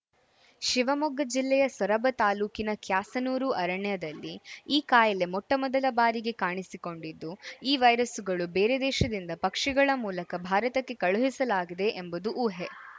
ಶಿವಮೊಗ್ಗ ಜಿಲ್ಲೆಯ ಸೊರಬ ತಾಲೂಕಿನ ಕ್ಯಾಸನೂರು ಅರಣ್ಯದಲ್ಲಿ ಈ ಕಾಯಿಲೆ ಮೊಟ್ಟಮೊದಲ ಬಾರಿಗೆ ಕಾಣಿಸಿಕೊಂಡಿದ್ದು ಈ ವೈರಸ್ಸುಗಳು ಬೇರೆ ದೇಶದಿಂದ ಪಕ್ಷಿಗಳ ಮೂಲಕ ಭಾರತಕ್ಕೆ ಕಳುಹಿಸಲಾಗಿದೆ ಎಂಬುದು ಊಹೆ